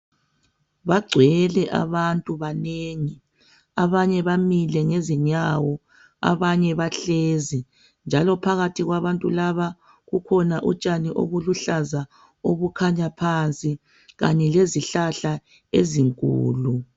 bagcwele abantu banengi abanye bamile ngezinyawo abanye bahlezi njalo phakathi kwabantu laba kukhona utshani obuluhlaza obukhanya phansi kanye lezihlahla ezinkulu